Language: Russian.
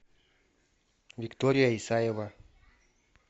виктория исаева